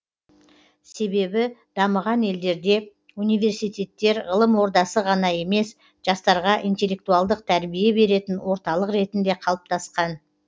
себебі дамыған елдерде университеттер ғылым ордасы ғана емес жастарға интеллектуалдық тәрбие беретін орталық ретінде қалыптасқан